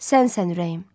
Sənsən ürəyim.